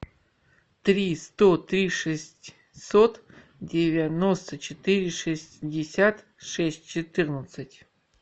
три сто три шестьсот девяносто четыре шестьдесят шесть четырнадцать